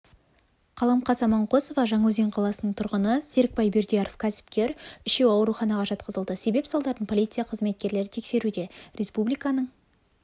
қаламқас аманқосова жаңаөзен қаласының тұрғыны серікбай бердияров кәсіпкер үшеуі ауруханаға жатқызылды себеп-салдарын полиция қызметкерлері тексеруде республиканың